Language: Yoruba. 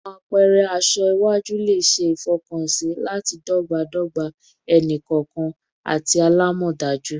Awọn apẹrẹ aṣọ aṣọ iwaju le ṣe ifọkansi lati dọgbadọgba ẹni-kọọkan ati alamọdaju